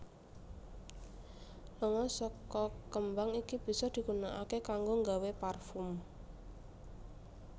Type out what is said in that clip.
Lenga saka kembang iki bisa digunaaké kanggo nggawé parfum